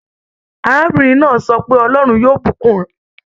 Arábìrin náà sọ pé "Ọlọ́rún yóò bùkún ẹ".